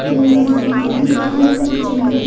ये ऑफिस का दिन है।